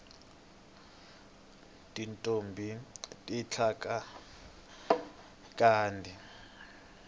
tintombhi ti tlanga khadi